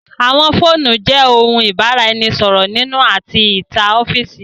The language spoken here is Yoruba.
Àwọn fóònù jẹ òun ibaraẹnisọrọ nínú àti ní ìta ọfiisi.